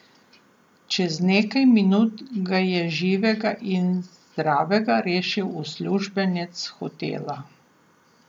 Čez nekaj minut ga je živega in zdravega rešil uslužbenec hotela.